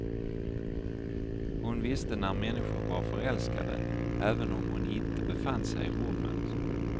Hon visste när människor var förälskade, även om hon inte befann sig i rummet.